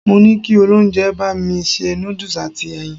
Mo ní kí olóúnjẹ bá mi ṣe noodles àti ẹyin.